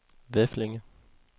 Veflinge